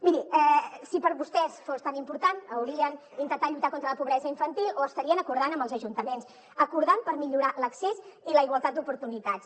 miri si per a vostès fos tan important haurien intentat lluitar contra la pobresa infantil o ho estarien acordant amb els ajuntaments acordant ho per millorar l’accés i la igualtat d’oportunitats